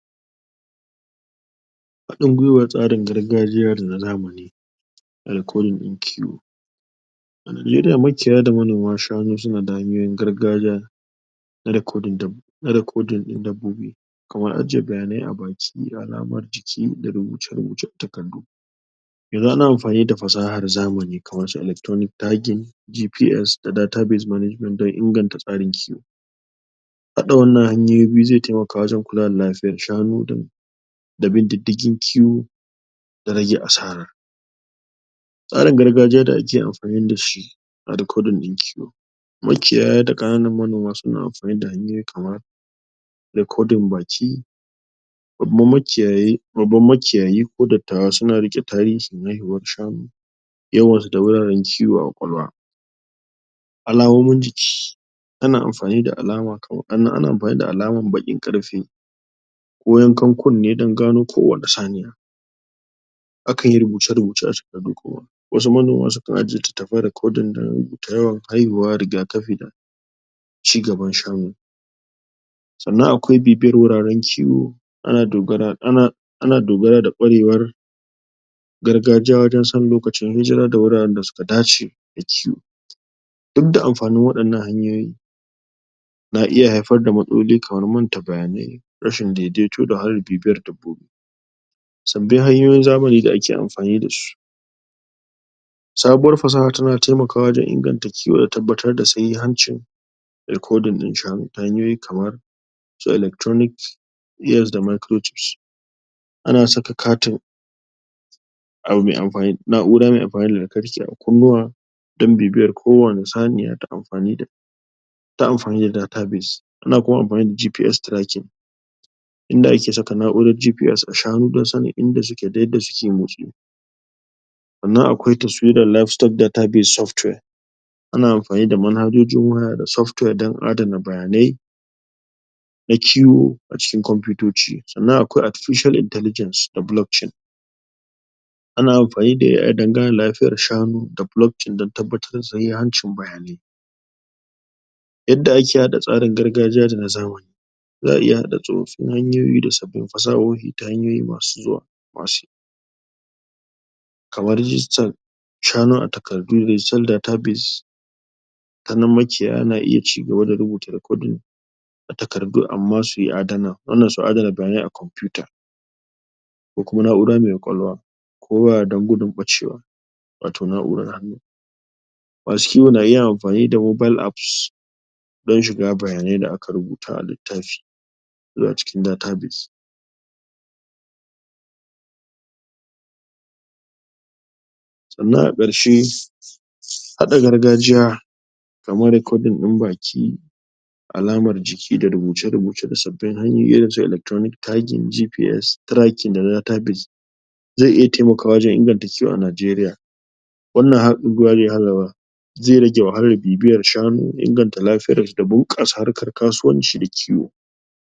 Haɗin guiwa tsarin gargajiya da na zamani a rikodin ɗin kiwo makiyaya da manoman shanu suna da hanyoyi na gargajiya na rekodin dab, na rikodin ɗin dabbobi kamar ajiye bayanai a baki alamar jiki, da rubuce-rubuce a takardu yanzu na amfani da fasaha da zamani kamar irinsu electronic tagging GPS da database management don inganta tsarin kiwo haɗa wannan hanyoyi biyu zai taimaka wajen kula da lafiyar shanu don da bin diddigin kiwo da rage asara. Tsarin gargajiya da ake amfani da shi a rikodin ɗin kiwo Makiyaya da ƙananan manoma suna amfani da hanyoyi kamar rekodin baki Bababan makiyayi, babban makiyayi ko dattawa na riƙe tarihin haihuwar shanu yawan su da wuraren kiwo a ƙwaƙwalwa. Alamomin jiki ana amfani kamar, ana amfani da alamar baƙin ƙarfe ko yankan kunne dan gano kowace saniya akan yi rubuce-rubuce a takardu kuma. wasu manoma sukan ajiye littattafan rikodin dana yawan haihuwa, riga kafi da ci gaban shanu Sannan akwai bibiyar guraren kiwo, ana dogara ana dogaro da ƙwarewar gargajiya wajen sanin lokacin hijira da wuraren da suka dace da kiwo. in da amfanin wannan hanyoyi na iya haifar da matsaloli kamar manta bayanai rashin dai-daito da wahalar bibiyar dabbobi sabbin hanyoyin zamani da ake amfani da su sabuwar fasaha tana taimakawa wajen inganta kiwo da tabbatar da sahihancin rikodin ɗin shanu ta hanyoyi kamar electronic GPS da microchips ana saka katin a bu mai amfani, na'ura mai amfani dalantarki a kunnuwa don bibiyar kowane saniya ta amfani da ta amfani da database. Ana kuma amfani da GPS tracking inda ake saka na'urara GPS a shanu don sanin inda suke dayadda suke motsi sannan akwai taswirar live step database software ana amfani da manhajojin waya da software don adana bayanai na kiwo a cikin kwamfiyitoci sannan akwai artificial intelligance da blockchain ana amfani da AI dan ganin lafiyar shanu da blockchain dan tabbatar da sahihancin bayanai yadda ake haɗa tsarin gargajiya da na zamani. Za a iya haɗa tsofaffin hanyoyi da sabbin fasahohi ta hanyoyi masu zuwa. masu Kamar digital shanu a takardu da digital database ta nan makiyaya na iya ci gaba da rubuta rikodin a takardu amma sui adana wannan su adana bayanai a kwamfiyuta ko kuma na'ura mai ƙwaƙwalwa, ko waya don gudun ɓacewa, wato na'urar hannu. masu kiwo na iya amfani da mobile apps don shiga bayanai da aka rubuta a littafi zuwa cikin database sannan a ƙarshe haɗa gargajiya kamar rikodin ɗin baki alamar jiki da rubuce-rubuce da sabbin hanyoyi irin su electronic tagging GPS tracking da database zai iya taimakawa wajen inganta kiwo a Najeriya zai rage wahalar bibiyar shanu, inganta lafiyarsu da bunƙasa harkar kasuwanci da kiwo.